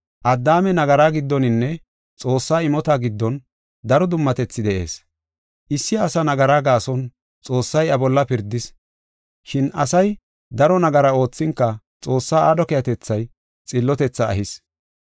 Addaame nagaraa giddoninne Xoossaa imota giddon daro dummatethi de7ees. Issi asa nagara gaason Xoossay iya bolla pirdis. Shin asay daro nagara oothinka Xoossaa aadho keehatethay xillotethaa ehis.